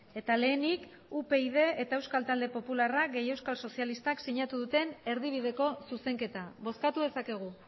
eta lehenik upyd eta euskal talde popularra gehi euskal sozialistak sinatu duten erdibideko zuzenketa bozkatu dezakegu